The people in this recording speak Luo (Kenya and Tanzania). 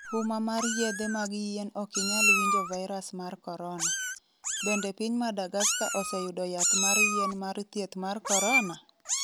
Huma mar yedhe mag yien Okinyal winjo Virus mar Corona: Bende piny Madagascar oseyudo yath mar yien mar thieth mar korona?